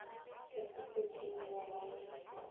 go se fete mengwaga ye